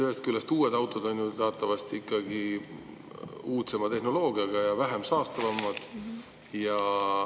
Ühest küljest uued autod on ju teatavasti ikkagi uudsema tehnoloogiaga ja vähem saastavad.